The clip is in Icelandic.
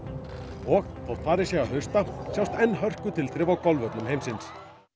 og þótt farið sé að hausta sjást enn á golfvöllum heimsins nú